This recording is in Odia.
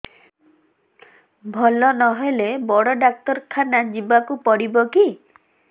ଭଲ ନହେଲେ ବଡ ଡାକ୍ତର ଖାନା ଯିବା କୁ ପଡିବକି